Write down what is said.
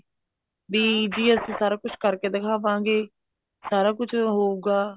ਵੀ ਜੀ ਅਸੀਂ ਸਾਰਾ ਕੁੱਝ ਕਰ ਕੇ ਦਿਖਾਵਾਂਗੇ ਸਰ ਕੁੱਝ ਹੋਉਗਾ